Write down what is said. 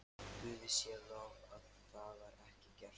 Guði sé lof að það var ekki gert.